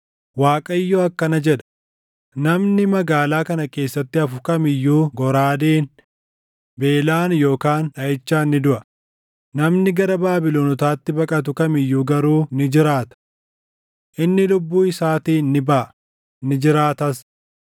“ Waaqayyo akkana jedha: ‘Namni magaalaa kana keessatti hafu kam iyyuu goraadeen, beelaan yookaan dhaʼichaan ni duʼa; namni gara Baabilonotaatti baqatu kam iyyuu garuu ni jiraata. Inni lubbuu isaatiin ni baʼa; ni jiraatas.’